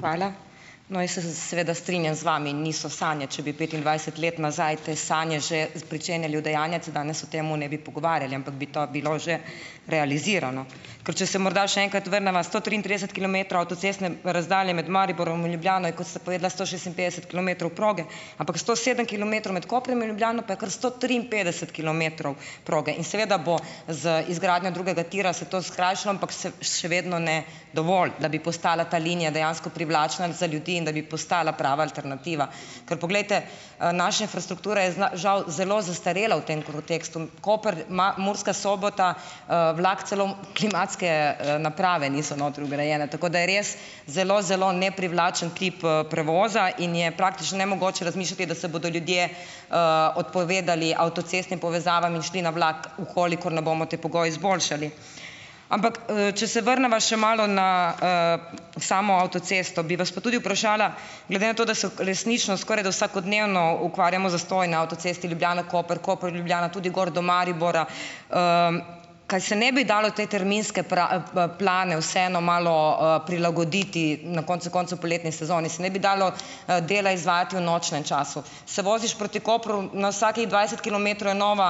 Hvala. No, jaz se seveda strinjam z vami, niso sanje. Če bi petindvajset let nazaj te sanje že pričenjali udejanjati, danes o tem ne bi pogovarjali, ampak bi to bilo že realizirano. Ker če se morda še enkrat vrneva. Sto triintrideset kilometrov avtocestne razdalje med Mariborom in Ljubljano, kot ste povedala, sto šestinpetdeset kilometrov proge, ampak sto sedem kilometrov med Koprom in Ljubljano pa je kar sto triinpetdeset kilometrov proge. In seveda bo z izgradnjo drugega tira se to skrajšalo, ampak še vedno ne dovolj, da bi postala ta linija dejansko privlačna za ljudi in da bi postala prava alternativa. Ker poglejte, naše infrastrukture žal zelo zastarelo v tem kontekstu . Koper Murska Sobota, vlak celo klimatske, naprave niso notri vgrajene, tako da je res zelo, zelo neprivlačen klip, prevoza in je praktično nemogoče razmišljati, da se bodo ljudje, odpovedali avtocestnim povezavam in šli na vlak, v kolikor ne bomo te pogoje izboljšali. Ampak, če se vrneva še malo na, samo avtocesto, bi vas pa tudi vprašala, glede na to, da so resnično skorajda vsakodnevno ukvarjamo z zastoji na avtocesti Ljubljana-Koper, Koper-Ljubljana, tudi gor do Maribora. kaj se ne bi dalo tej terminske plane vseeno malo, prilagoditi. Na koncu koncev poletni sezoni se ne bi dalo, dela izvajati v nočnem času? Se voziš proti Kopru, na vsakih dvajset kilometrov je nova,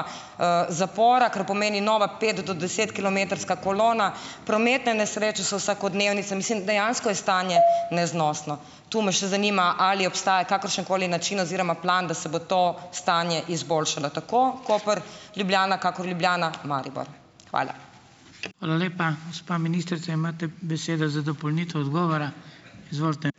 zapora, kar pomeni nova pet- do desetkilometrska kolona. Prometne nesreče so vsakodnevnice, mislim, dejansko je stanje neznosno. To me še zanima, ali obstaja kakršen koli način oziroma plan, da se bo to stanje izboljšalo. Tako Koper- Ljubljana, kakor Ljubljana-Maribor. Hvala. Hvala lepa. Gospa ministrica, imate besedo za dopolnitev odgovora. Izvolite.